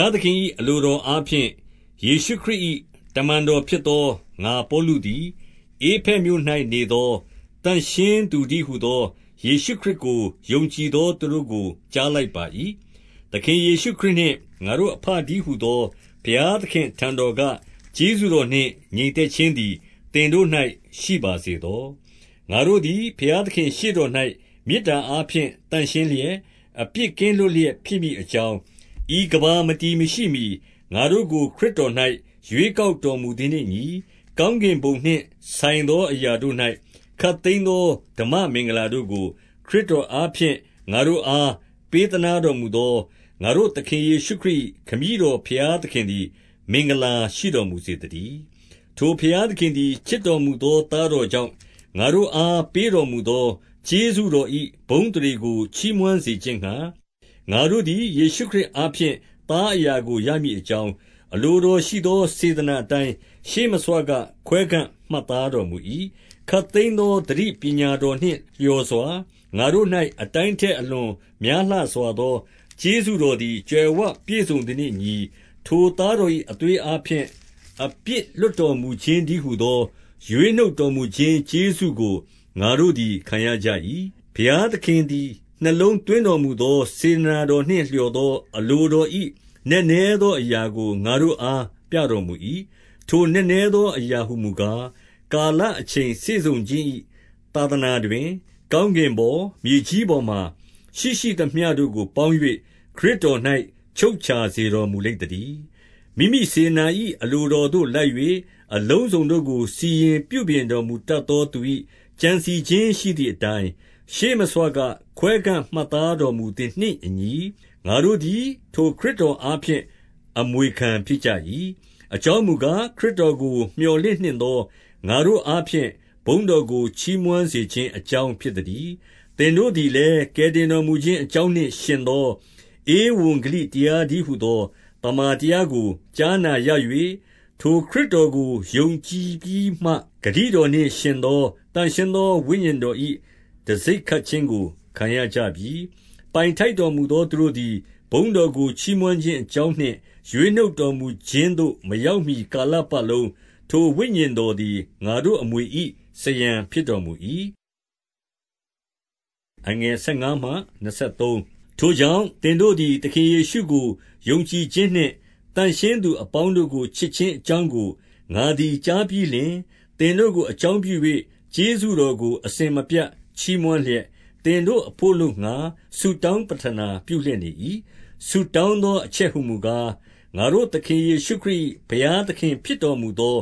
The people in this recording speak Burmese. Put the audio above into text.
ားသခင်၏အလိုတော်အားဖြင့်၊ ယေရှုခရစ်၏တမန်တော်ဖြစ်သော ငါပေါလုသည် ဧဖက်မြို့၌ နေသော သန့်ရှင်းသူတည်းဟူသော ယေရှုခရစ်ကို ယုံကြည်သောသူတို့ကို ကြားလိုက်ပါ၏။ 2 သခင်ယေရှုခရစ်နှင့်ငါတို့အဘတည်းဟူသော ဘုရားသခင်ထံတော်က ကျေးဇူးတော်နှင့် ငြိမ်သက်ခြင်း သည် သင်တို့၌ ရှိပါစေသော။ 3 ငါတို့သည်ဘုရားသခင့်ရှေ့တော်၌ မေတ္တာအားဖြင့် သန့်ရှင်းလျက်၊ အပြစ်ကင်းလွတ်လျက် ဖြစ်မည် အကြောင်း၊ 4 ဤကမ္ဘာမတည်မရှိမှီ ငါတို့ကိုခရစ်တော်၌ ရွေးကောက်တော်မူသည်နှင့်အညီ။ ကောင်းကင်ဘုံနှင့် ဆိုင်သော အရာတို့၌ ခပ်သိမ်းသော ဓမ္မမင်္ဂလာတို့ကို ခရစ်တော်အားဖြင့် ငါတို့အား ပေးသနားတော်မူသော ငါတို့သခင်ယေရှုခရစ်၏ ခမည်းတော်ဘုရားသခင်သည် မင်္ဂလာရှိတော်မူစေသတည်း။ 5 ထိုဘုရားသခင်သည် ချစ်တော်မူသော သားတော်ကြောင့်၊ ငါတို့အား ပေးတော်မူသော ကျေးဇူးတော်၏ ဘုန်းအသရေကိုချီးမွမ်းစေခြင်းငှါ၊ 6 ငါတို့သည် ယေရှုခရစ်အားဖြင့် သားအရာကို ရမည်အကြောင်း၊ အလိုတော်ရှိသောစေတနာအတိုင်း ရှေးမဆွက ခွဲခန့်မှတ်သားတော်မူ၏။ 7 ခပ်သိမ်းသော သတိပညာတော်နှင့်လျော်စွာ ငါတို့၌ အတိုင်းထက်အလွန်များလှစွာသော ကျေးဇူးတော်သည် ကြွယ်ဝပြည့်စုံသည်နှင့်အညီ၊ 8 ထိုသားတော်၏အသွေးအားဖြင့် အပြစ်လွှတ်တော်မူခြင်း တည်းဟူသော ရွေးနှုတ်တော်မူခြင်း ကျေးဇူးကို ငါတို့သည်းခံရကြ၏။ 9 ဘုရားသခင်သည် နှလုံးသွင်းတော်မူသော စေတနာတော်နှင့် လျော်သောအလိုတော်၏ နက်နဲသော အရာကို ငါတို့အား ပြတော်မူ၏။ 10 ထိုနက်နဲသောအရာဟူမူကား၊ ကာလအချိန်စေ့စုံခြင်း၏ သာသနာတွင် ကောင်းကင်ပေါ်၊ မြေကြီး ပေါ်မှာ ရှိရှိသမျှတို့ကိုပေါင်း၍ ခရစ်တော်၌ ချုပ်ခြာ စေတော်မူလိမ့်သတည်း။ 11 မိမိစေတနာ၏အလိုတော်သို့လိုက်၍ အလုံးစုံတို့ကို စီရင်ပြုပြင်တော်မူတတ်သော သူ၏ကြံစည်ခြင်း ရှိသည်အတိုင်း၊ ရှေးမဆွက ခွဲခန့်မှတ်သားတော်မူသည်နှင့်အညီ၊ ငါတို့သည် ထိုခရစ်တော်အားဖြင့် အမွေခံဖြစ်ကြ၏။ 12 အကြောင်းမူကား၊ ခရစ်တော်ကို မျှော်လင့်နှင့်သော ငါတို့အားဖြင့် ဘုန်းတော်ကို ချီးမွမ်းစေခြင်း အကြောင်းဖြစ်သတည်း။ 13 သင်တို့သည်လည်း ကယ်တင်တော်မူခြင်းအကြောင်းနှင့်ယှဉ်သော ဧဝံဂေလိတရားတည်းဟူသော သမ္မာတရားကိုကြားနာ၍ ထိုခရစ်တော်ကို ယုံကြည်ပြီးမှ၊ ဂတိတော်နှင့်ယှဉ်သော သန့်ရှင်းသော ဝိညာဉ်တော်၏ တံဆိပ်ခတ်ခြင်းကို ခံကြရပြီ။ 14 ပိုင်ထိုက်တော်မူသောသူတို့သည် ဘုန်းတော်ကို ချီးမွမ်းခြင်းအကြောင်းနှင့် ရွေးနှုတ်တော်မူခြင်းသို့ မရောက်မှီကာလပတ်လုံး ထိုဝိညာဉ်တော်သည် ငါတို့ အမွေ၏ စားရန်ဖြစ်တော်မူ၏။ 15 ထိုကြောင့် သင်တို့သည်သခင်ယေရှုကို ယုံကြည်ခြင်းနှင့် သန့်ရှင်းသူအပေါင်းတို့ကို ချစ်ခြင်းအကြောင်း ကို ငါသည်ကြားပြီးလျှင်၊ 16 သင်တို့ကိုအကြောင်းပြု၍ ကျေးဇူးတော်ကို အစဉ်မပြတ်ချီးမွမ်းလျက်၊ သင်တို့အဘို့ အလိုငှါ ဆုတောင်းပဌနာပြုလျက်နေ၏။ 17 ဆုတောင်းသောအချက်ဟူမူကား၊ ငါတို့သခင် ယေရှုခရစ်၏ ဘုရားသခင်ဖြစ်တော်မူသော